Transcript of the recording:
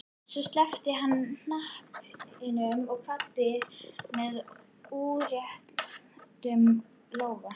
Svo sleppti hann hnappinum og kvaddi með útréttum lófa.